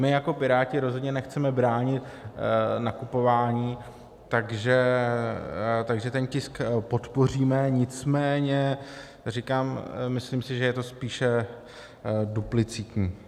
My jako Piráti rozhodně nechceme bránit nakupování, takže ten tisk podpoříme, nicméně říkám, myslím si, že je to spíše duplicitní.